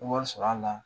Wari sɔrɔ a la